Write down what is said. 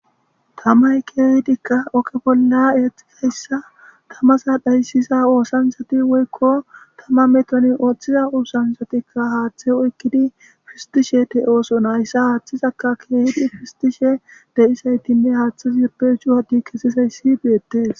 Tamay keehidikka oke bolla eexizayssa tamasa dhayssisa oosansati woykko tama metoni ooththiza oosansatikka haaththe oykkidi fistishe te'ooso nayssa haaththizaka keehidi fistishe de'isaytinne haaththe zepe shuwadi kesisayssi beettees.